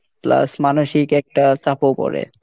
plus মানসিক একটা চাপও পরে।